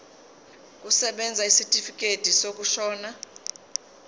kusebenza isitifikedi sokushona